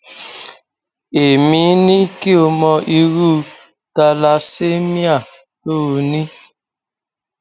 èmi ní kí o mọ irú thalassemia tó o ní